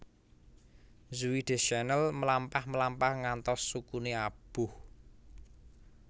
Zooey Deschanel mlampah mlampah ngantos sukune aboh